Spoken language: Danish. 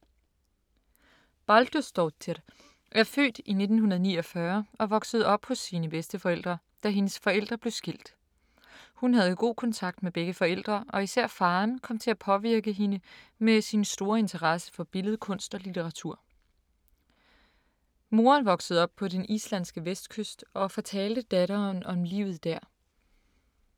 Baldursdóttir er født i 1949 og voksede op hos sine bedsteforældre, da hendes forældre blev skilt. Hun havde god kontakt med begge forældre, og især faderen kom til at påvirke hende med sin store interesse for billedkunst og litteratur. Moderen voksede op på den islandske vestkyst, og fortalte datteren om livet der.